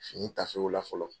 Fini taafew la fɔlɔ.